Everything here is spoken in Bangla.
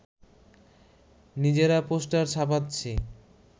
নিজেরা পোস্টার ছাপাচ্ছি